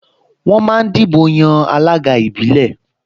Wọ́n máa dìbò yan alága ìbílẹ̀